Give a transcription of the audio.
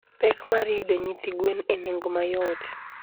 Pek mar yudo nyithi gwen e nengo mayot.